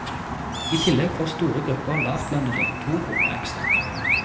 I tillegg får store grupper lavtlønnede to kroner ekstra.